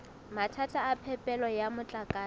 mathata a phepelo ya motlakase